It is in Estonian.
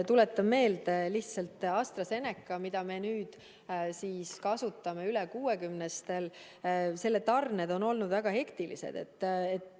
Tuletan lihtsalt meelde, et AstraZeneca tarned, mida me nüüd kasutame üle 60-stel, on olnud väga hektilised.